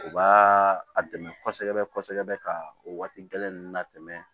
U b'a a dɛmɛ kosɛbɛ kosɛbɛ ka o waati gɛlɛn ninnu latɛmɛ